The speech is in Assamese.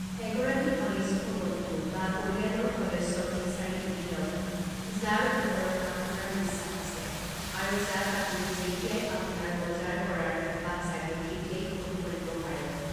এগৰাকী ঘনিষ্ঠ বন্ধু বা পৰিয়ালৰ সদস্যক বিচাৰি উলিয়াওক যাৰ ওপৰত আপোনাৰ বিশ্বাস আছে, আৰু যাক আপুনি যেতিয়াই আপোনাৰ বজাৰ কৰাৰ হেঁপাহ জাগে তেতিয়াই ফোন কৰিব পাৰে।